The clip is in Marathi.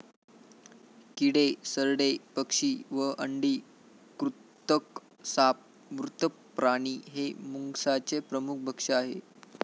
किडे, सरडे, पक्षी व अंडी, कृंतक, साप, मृत प्राणी हे मुंगसाचे प्रमुख भक्ष आहे